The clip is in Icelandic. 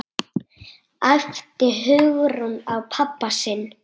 æpti Hugrún á pabba sinn.